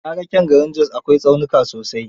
Na ga kyan garin Jos, akwai tsaunuka sosai..